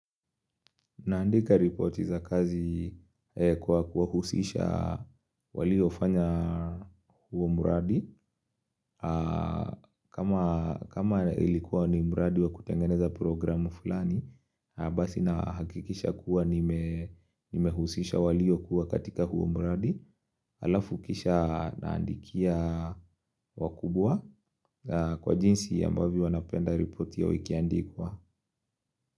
Naandika ripoti za kazi kwa kuwahusisha waliofanya huo mradi. Kama ilikuwa ni mradi wa kutengeneza programu fulani, basi nahakikisha kuwa nimehusisha waliyokuwa katika huo mradi. Alafu kisha naandikia wakubwa kwa jinsi ambavyo wanapenda ripoti yao ikiandikwa.